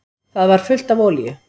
Það var fullt af olíu.